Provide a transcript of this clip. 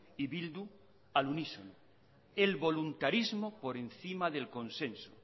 y bildu al unísono el voluntarismo por encima del consenso